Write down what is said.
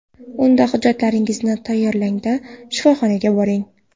Unda hujjatlaringizni tayyorlang-da, shifoxonaga boring.